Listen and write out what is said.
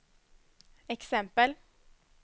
exempel